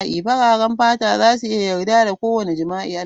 Fararen fata za su yarda da kowane irin jima'i.